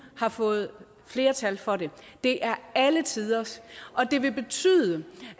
har fået flertal for det det er alle tiders og det vil betyde